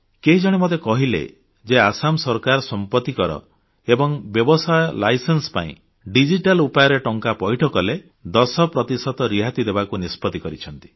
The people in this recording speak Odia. କେହି ଜଣେ ମୋତେ କହିଲେ ଯେ ଆସାମ ସରକାର ସମ୍ପତ୍ତି କର ଏବଂ ବ୍ୟବସାୟ ଲାଇସେନ୍ସ ପାଇଁ ଡିଜିଟାଲ ଉପାୟରେ ଟଙ୍କା ପଇଠ କଲେ 10 ପ୍ରତିଶତ ରିହାତି ଦେବାକୁ ନିଷ୍ପତ୍ତି କରିଛନ୍ତି